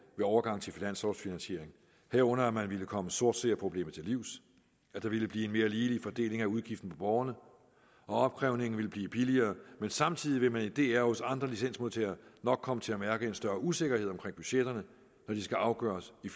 overgang til finanslovfinansiering herunder at man ville komme sortseerproblemet til livs at der ville blive en mere ligelig fordeling af udgiften for borgerne og at opkrævningen ville blive billigere men samtidig vil man i dr og hos andre licensmodtagere nok komme til at mærke en større usikkerhed omkring budgetterne når de skal afgøres i